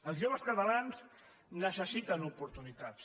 els joves catalans necessiten oportunitats